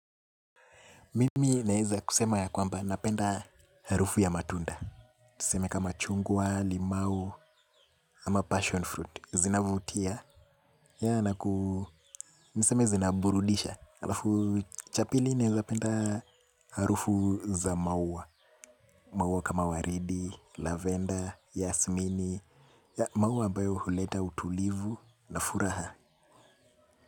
Mimi naeza kusema ya kwamba napenda harufu ya matunda. Tuseme kama chungwa, limau, ama passion fruit. Zina vutia. Ya na kuu niseme zinaburudisha. Alafu cha pili naezapenda harufu za maua. Maua kama waridi, lavenda, yasmini. Ya maua ambayo huleta utulivu na furaha.